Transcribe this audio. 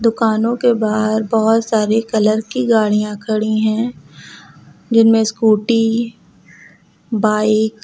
दुकानों के बाहर बहुत सारे कलर की गाड़ियां खड़ी हैं जिनमें स्कूटी बाइक --